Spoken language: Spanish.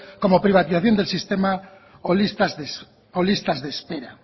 como privatización del sistema o listas de espera